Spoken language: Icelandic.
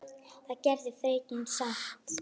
Það gerði fregnin samt.